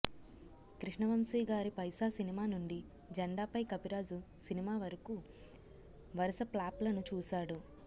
కృష్ణవంశీ గారి పైసా సినిమా నుండి జెండాపై కపిరాజు సినిమా వరకు వరస ప్లాప్ లను చూసాడు